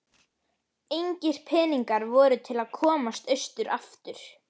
Engir peningar voru til að komast austur aftur.